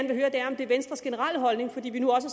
vil høre er om det er venstres generelle holdning fordi vi nu også